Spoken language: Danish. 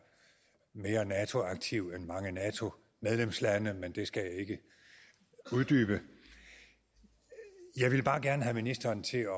mere nato aktiv end mange nato medlemslande men det skal jeg ikke uddybe jeg ville bare gerne have ministeren til